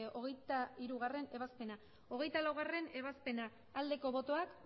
hogeita hirugarrena ebazpena hogeita laugarrena ebazpena aldeko botoak